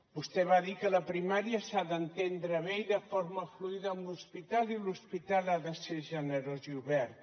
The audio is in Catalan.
vostè va dir que la primària s’ha d’entendre bé i de forma fluida amb l’hospital i l’hospital ha de ser generós i obert